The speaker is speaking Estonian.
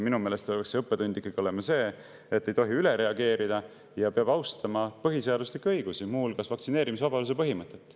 Minu meelest peaks see õppetund ikkagi olema see, et ei tohi üle reageerida ja peab austama põhiseaduslikke õigusi, muu hulgas vaktsineerimisvabaduse põhimõtet.